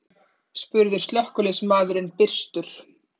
spurði slökkviliðsmaðurinn byrstur.